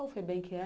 Qual FEBEM que é?